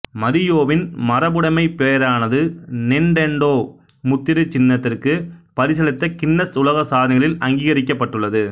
மரியோவின் மரபுடைமைப் பேறானது நிண்டெண்டோ முத்திரைச் சின்னத்திற்கு பரிசளித்த கின்னஸ் உலகசாதனைகளில் அங்கீகரிக்கப்பட்டுள்ளது